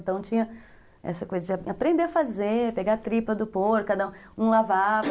Então tinha essa coisa de aprender a fazer, pegar a tripa do porco, um lavava.